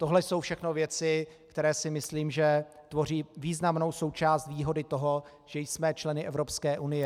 Tohle jsou všechno věci, které si myslím, že tvoří významnou součást výhody toho, že jsme členy Evropské unie.